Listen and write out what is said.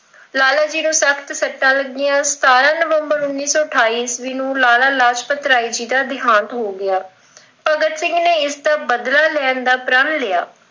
ਲਾਲਾ ਜੀ ਦੇ ਸਖ਼ਤ ਸੱਟਾ ਲੱਗਿਆ, ਅਠਾਰਾਂ ਨਵੰਬਰ ਉੱਨੀ ਸੌ ਅਠਾਈ ਈਸਵੀ ਨੂੰ ਲਾਲਾ ਲਾਜਪਤ ਰਾਏ ਜੀ ਦਾ ਦਿਹਾਂਤ ਹੋ ਗਿਆ, ਭਗਤ ਸਿੰਘ ਨੇ ਇਸ ਦਾ ਬਦਲਾ ਲੈਣ ਦਾ ਪ੍ਰਣ ਲਿਆ।